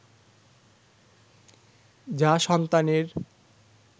যা সন্তানের